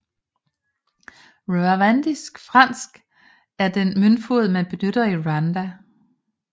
Rwandisk franc er den møntfod man benytter i Rwanda